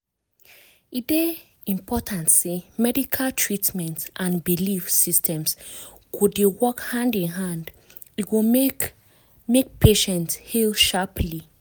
e dey important say medical treatment and belief systems go dey work hand in hand e go make make patient heal sharply.